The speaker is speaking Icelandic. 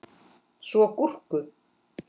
Svo gúrku.